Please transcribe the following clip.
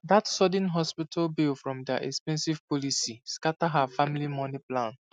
that sudden hospital bill from their expensive policy scatter her family money plan